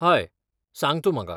हय, सांग तूं म्हाका.